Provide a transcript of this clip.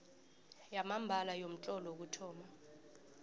yamambala yomtlolo wokuthoma